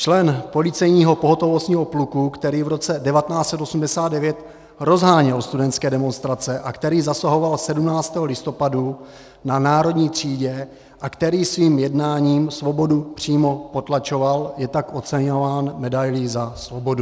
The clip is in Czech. Člen policejního pohotovostního pluku, který v roce 1989 rozháněl studentské demonstrace a který zasahoval 17. listopadu na Národní třídě a který svým jednáním svobodu přímo potlačoval, je tak oceňován medailí za svobodu.